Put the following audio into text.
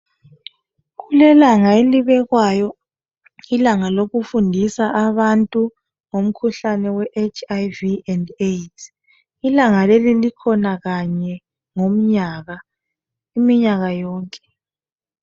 Kulelanga elibekwayo, ilanga lokufundisa abantu ngomkhuhlane weHIV and AIDS. Ilanga leli likhona kanye ngomnyaka iminyaka yonke